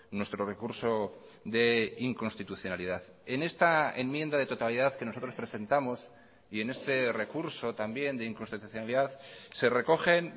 nuestro recurso de inconstitucionalidad en esta enmienda de totalidad que nosotros presentamos y en este recurso también de inconstitucionalidad se recogen